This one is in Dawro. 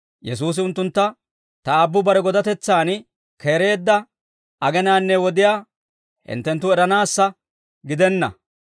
Yesuusi unttuntta, «Ta Aabbu bare godatetsaan keereedda agenaanne wodiyaa hinttenttu eranaassa gidenna.